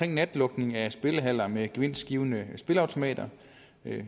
natlukning af spillehaller med gevinstgivende spilleautomater